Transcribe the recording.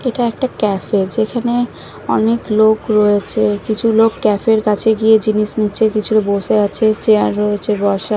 এটা একটা ক্যাফে যেখানে অনেক লোক রয়েছে কিছু লোক ক্যাফের কাছে গিয়ে জিনিস নিচ্ছে কিছু বসে আছে চেয়ার রয়েছে বসার ।